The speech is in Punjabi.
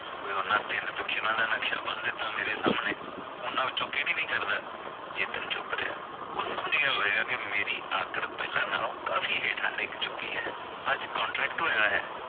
ਉਏ ਉਨ੍ਹਾਂ ਤਿੰਨ ਪਿਕਚਰਾਂ ਦਾ ਨਕਸ਼ਾ ਬੰਨ ਦਿੱਤਾ। ਮੇਰੇ ਸਾਹਮਣੇ ਉਨ੍ਹਾਂ ਵਿਚੋਂ ਕਿਹੜੀ ਨੀ ਕਰਦਾ ਚੇਤਨ ਚੁੱਪ ਰਿਹਾ ਉਹ ਸਮਝ ਗਿਆ ਹੋਵੇਗਾ ਕਿ ਮੇਰੀ ਆਕੜ ਪਹਿਲਾਂ ਨਾਲੋ ਕਾਫੀ ਹੇਠਾਂ ਡਿਗ ਚੁੱਕੀ ਐ ਅੱਜ contract ਹੋਇਆ ਹੈ।